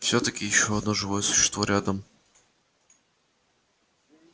всё-таки ещё одно живое существо рядом